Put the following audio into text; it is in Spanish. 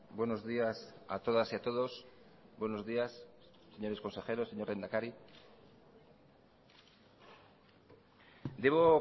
buenos días a todas y a todos buenos días señores consejeros señor lehendakari debo